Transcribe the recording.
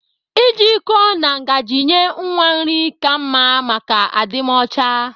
Ị ji iko na ngazi nye nwa nri ka mma maka adịmọcha